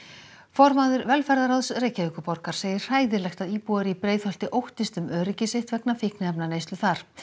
formaður velferðarráðs Reykjavíkurborgar segir hræðilegt að íbúar í Breiðholti óttist um öryggi sitt vegna fíkniefnaneyslu þar